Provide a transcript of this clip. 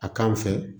A k'an fɛ